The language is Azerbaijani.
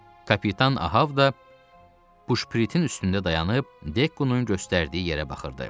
Kapitan Ahav da puşpiritin üstündə dayanıb Dekkounun göstərdiyi yerə baxırdı.